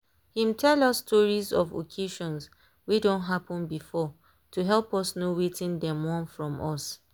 him tell us stories of occasions wey done happen before to help us know wetin dem want from us.